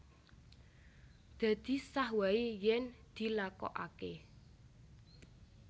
Dadi sah wae yen dilakokake